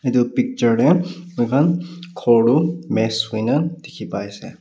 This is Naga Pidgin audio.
etu picture de moikhan ghor tu mess hoi na dikhi pai ase.